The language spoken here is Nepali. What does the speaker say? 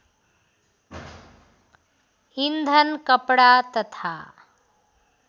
इन्धन कपडा तथा